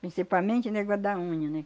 Principalmente negócio da unha, né?